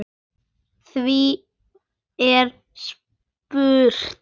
Því er spurt: